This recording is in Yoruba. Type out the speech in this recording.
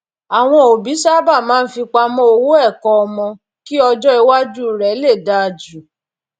àwọn òbí sábà máa ń fipamọ owó ẹkọ ọmọ kí ọjọ iwájú rẹ lè dáa ju